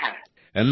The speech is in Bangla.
আজ্ঞে হ্যাঁ